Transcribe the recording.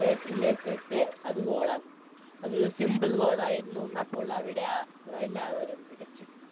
Head ലേക്കിട്ട് അത് Goal ആകുന്നു അതൊരു Simple goal ആയിരുന്നു അപ്പോൾ അവിടെ ആ എല്ലാവരും വിളിച്ച് കൂവി